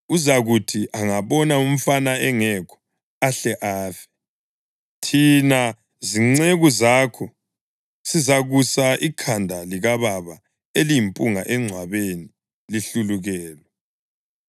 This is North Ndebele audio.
uzakuthi angabona umfana engekho, ahle afe. Thina zinceku zakho sizakusa ikhanda likababa eliyimpunga engcwabeni lihlulukelwe.